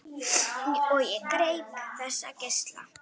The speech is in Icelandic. Og ég greip þessa geisla.